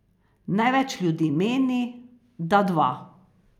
Največ ljudi meni, da dva.